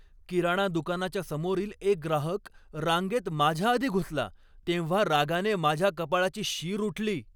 किराणा दुकानाच्या समोरील एक ग्राहक रांगेत माझ्याआधी घुसला तेव्हा रागाने माझ्या कपाळाची शीर उठली.